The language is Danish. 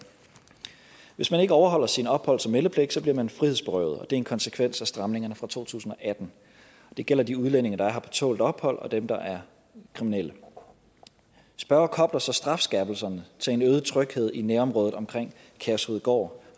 hvis man ikke overholder sin opholds og meldepligt bliver man frihedsberøvet og det er en konsekvens af stramningerne fra to tusind og atten det gælder de udlændinge der er her på tålt ophold og dem der er kriminelle spørger kobler så strafskærpelserne til en øget tryghed i nærområdet omkring kærshovedgård